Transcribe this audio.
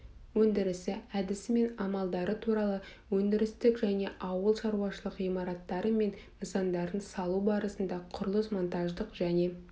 өндірісі әдісі мен амалдары туралы өндірістік және ауыл шаруашылық ғимараттары мен нысандарын салу барысында құрылыс-монтаждық және